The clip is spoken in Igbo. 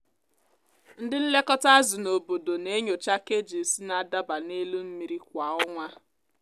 ndị nlekọta azụ n’obodo na-enyocha cages na-adaba n’elu mmiri kwa ọnwa.